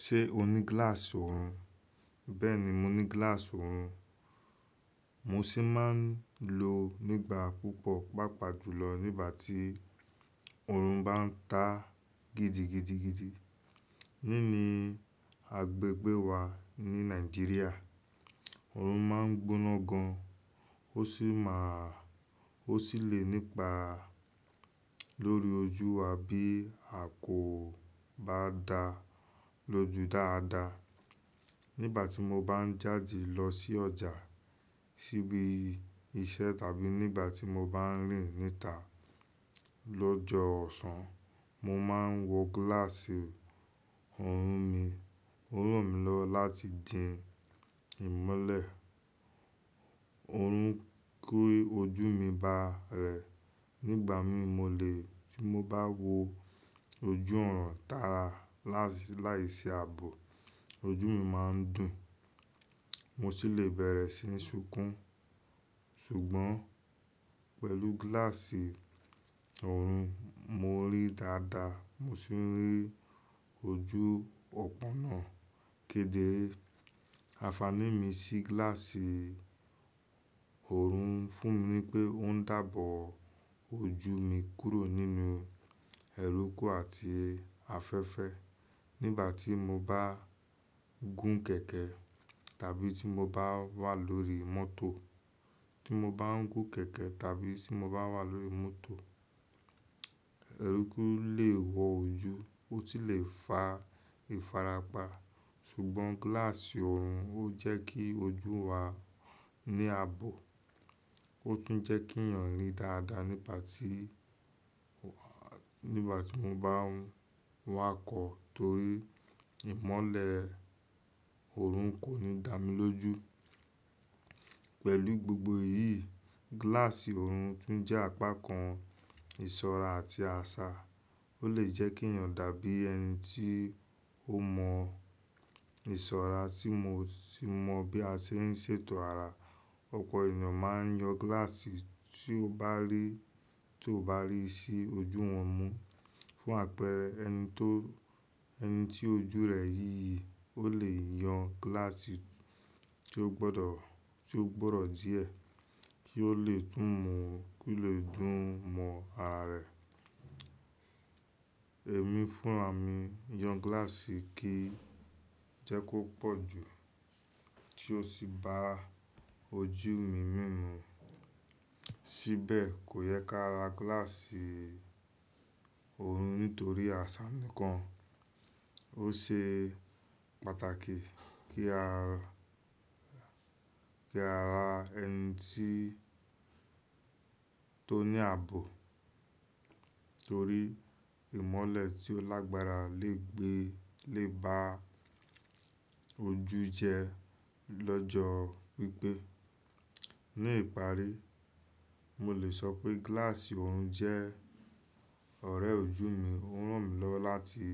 Ṣé o ní gíláàsì oorun? Bẹ́ẹ̀ni, mo ní gíláàsì oorun. Mo sì máa ń lò ó nígbà púpọ̀, pàápàá jùlọ nígbà tí oorun bá ń ta gidigidigidi. Nínú agbègbè wa ní Nàìjíríà, òòrùn má ń gbóná gan, ó sì lè nípa lórí ojú wa bí a kò bá da lóju dáadáa. Nígbà tí mo bá ń jáde lọ sí ọjà, síbi iṣẹ́ tàbí nígbà tí mo bá ń rìn níta lọ́jọ́ ọ̀sán, mo máa ń wọ gíláàsì òòrùn mi. Ó ràn mí lọ́wọ́ láti dìn ìmọ́lẹ̀ òòrùn kúrò ojú mi bá rẹ̀. Nígbà mí mo lè tí mo bá wọ ojú ọ̀run tààrà láìsí ààbò, ojú mi máa ń dùn, mo sì lè bẹ̀rẹ̀ sí ní sunkún. Ṣùgbọ́n pẹ̀lú gíláàsì òòrùn, mo rí dáadáa, mo sì rí ojú ọ̀pópónà kedere. Ànfàní mi sí gíláàsì òòrùn fún mi ní pé ó ń dábò ojú mi kúrò nínú ẹrúkú àti afẹ́fẹ́ nígbà tí mo bá gún kẹ̀kẹ́ tàbí tí mo bá wà lórí mọ́tò. Ti mo bá ń gún kẹ̀kẹ́ tàbí tí mo bá wà lórí mọ́tò, ẹrúkú lè wọ ojú, ó sì lè fa ìfarapa, ṣùgbọ́n gíláàsì oorun ó jẹ́ kí ojú wa ní àbò, ó tún jẹ́ kí èèyàn rí dáadáa nígbà tí wọ́n bá ń wá kọ̀ torí ìmọ́lẹ̀ òòrùn kò ní tamí lójú. Pẹ̀lú gbogbo èyíì, gíláàsì òòrùn tún jẹ́ apá kan ìṣọ́ra àti àṣà. Ó lè jẹ́ kí èèyàn dàbí ẹni tí ó mọ ìṣọ́ra tí mo sì mọ bí a ṣe ń ṣètò ara. Ọ̀pọ̀ èèyàn máa ń yan gíláàsì tí ó bá rí sí ojú wọn mú. Fún àpẹrẹ ẹni tí ojú rẹ yíyí, ó lè yan gíláàsì tí ó gbọ́dọ̀ díẹ̀ kí ó lè tún mọ̀ kí lè dùn mọ ara rẹ̀. Èmi fúnra mi yan gíláàsì kí jẹ́ kó pọ̀ jù tí ó sì ba ojú mi mímu. Síbẹ̀, kò yẹ kí a ra gíláàsì òòrun nítorí àṣà nìkan. Ó ṣe pàtàkì kí a ra ẹni tó ní àbọ̀ torí ìmọ́lẹ̀ tí ó lágbára lè bá ojú jẹ lọ́jọ́ gígbé. Ní ìparí, mo lè sọ pé gíláàsì oorun jẹ́ ọ̀rẹ́ ojú mi. Ó ràn mí lọ́wọ́ láti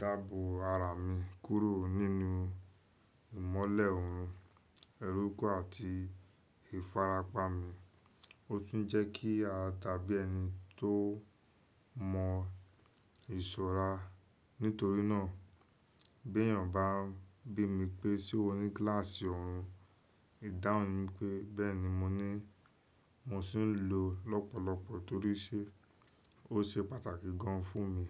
dábò ara mi kúrò nínú ìmọ́lẹ̀ oorun, ẹrúkú àti ìfarapa mi. Ó tún jẹ́ kí adàbí ẹni tó mọ ìṣọ́ra. Nítorínà bí èèyàn bá bí mi pé, "Ṣé o ní gíláàsì òòrun?" ìdáhùn mi pé, "Bẹ́ẹ̀ni, mo ní." Mo sì ń lò ọ́n lọ́pọ̀lọpọ̀ torí ó ṣe pàtàkì gan fún mi.